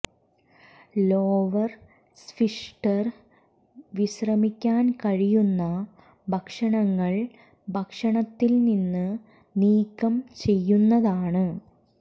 lower sphincter വിശ്രമിക്കാൻ കഴിയുന്ന ഭക്ഷണങ്ങൾ ഭക്ഷണത്തിൽ നിന്ന് നീക്കം ചെയ്യുന്നതാണ്